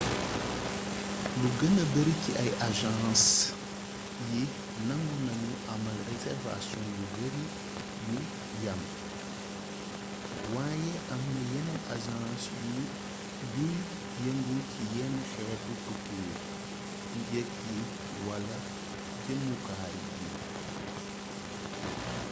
lu gëna bari ci agence yi nangu nañu amal réservation yu bari yu yam waaye amna yeneen agence yuy yëngu ci yenn xeeti tukki yi njëgg yi wala jëmuwaay yi